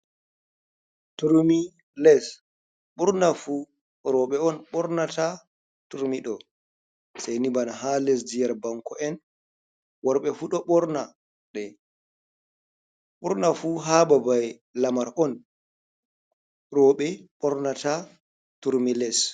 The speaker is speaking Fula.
"Turmi" les ɓurna fu roɓe on ɓornata turmiɗo saini bana ha lesdi yar' banko’en worɓe fuɗo ɓorna de ɓurna fu ha babai lamar on roɓe ɓornata turmi les.